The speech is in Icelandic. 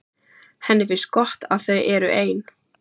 Henni finnst gott að þau eru ein.